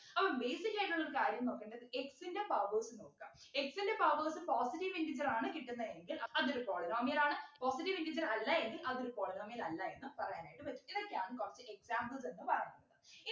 അപ്പം basic ആയിട്ടുള്ളൊരു കാര്യം നോക്കണ്ടത് x ൻ്റെ powers നോക്ക x ൻ്റെ powers positive integer ആണ് കിട്ടുന്നെ എങ്കിൽ അതൊരു polynomial ആണ് positive integer അല്ല എങ്കിൽ അതൊരു polynomial അല്ല എന്ന് പറയാനായിട്ട് പറ്റും ഇതൊക്കെയാണ് കുറച്ച് examples എന്ന് പറയുന്നത്